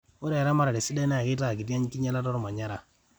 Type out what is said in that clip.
ore eramatare sidai naa keitaa kiti enkinylata olmanyara